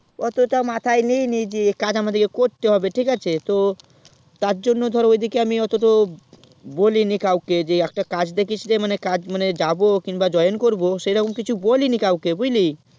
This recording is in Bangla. অতটা মাথায় লিয়েনি যে কাজ আমাদিকে করতে হবে তো তার জন্য ধর ওই দিকে অটোত বলিনি কাওকে যে একটা কাজ দেখিসরে কাজ মানে কাজে join করবো সেরকম কিছু বলিনি কাওকে বুঝলিস